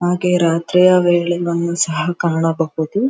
ಹಾಗೆ ರಾತ್ರಿಯ ವೇಳೆ ವನ್ನು ಸಹ ಕಾಣಬಹುದು.